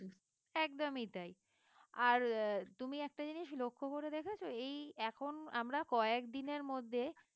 একদমই তাই আর আহ তুমি একটা জিনিস লক্ষ্য করে দেখেছ এই এখন আমরা কয়েকদিনের মধ্যে